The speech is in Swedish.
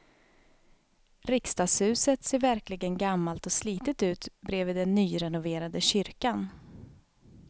Riksdagshuset ser verkligen gammalt och slitet ut bredvid den nyrenoverade kyrkan.